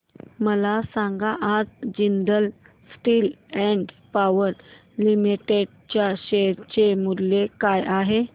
मला सांगा आज Jindal Steel and Power Limited च्या शेअर चे मूल्य काय आहे